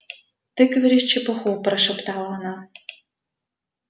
ты говоришь чепуху прошептала она